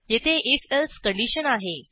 येथे if else condition आहे